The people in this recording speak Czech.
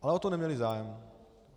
Ale o to neměli zájem.